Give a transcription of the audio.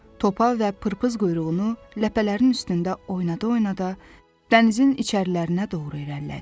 Topa və pırpız quyruğunu ləpələrin üstündə oynada-oynada dənizin içərilərinə doğru irəlilədi.